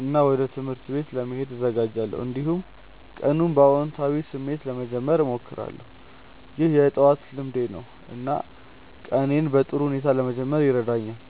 እና ወደ ትምህርት ቤት ለመሄድ እዘጋጃለሁ። እንዲሁም ቀኑን በአዎንታዊ ስሜት ለመጀመር እሞክራለሁ። ይህ የጠዋት ልምዴ ነው እና ቀኔን በጥሩ ሁኔታ ለመጀመር ይረዳኛል።